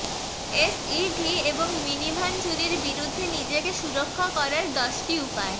SUV এবং minivan চুরির বিরুদ্ধে নিজেকে সুরক্ষা করার দশটি উপায়